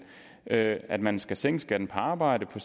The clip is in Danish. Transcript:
at at man skal sænke skatten på arbejde på